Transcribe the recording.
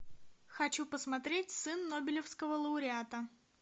хочу посмотреть сын нобелевского лауреата